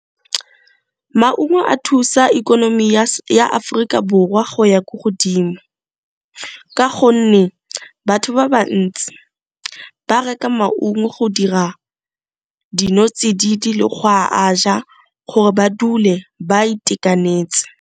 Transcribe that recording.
Maungo a thusa ikonomi ya Aforika Borwa go ya ko godimo, ka gonne batho ba bantsi ba reka maungo go dira dinotsididi le go a ja gore ba dule ba itekanetse.